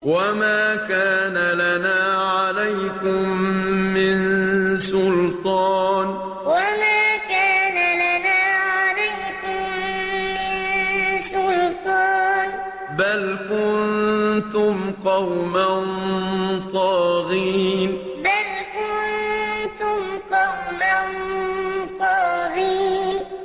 وَمَا كَانَ لَنَا عَلَيْكُم مِّن سُلْطَانٍ ۖ بَلْ كُنتُمْ قَوْمًا طَاغِينَ وَمَا كَانَ لَنَا عَلَيْكُم مِّن سُلْطَانٍ ۖ بَلْ كُنتُمْ قَوْمًا طَاغِينَ